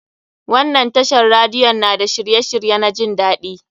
Wannan tashar radiyon na da shirye shirye na jin daɗi.